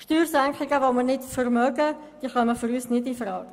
Steuersenkungen, die wir nicht vermögen, kommen für uns nicht infrage.